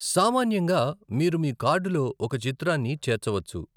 సామాన్యంగా, మీరు మీ కార్డులో ఒక చిత్రాన్ని చేర్చవచ్చు.